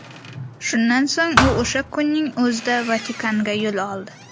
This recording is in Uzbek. Shundan so‘ng u o‘sha kunning o‘zida Vatikanga yo‘l oldi.